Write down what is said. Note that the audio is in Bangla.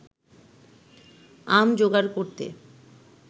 আম জোগাড় করতে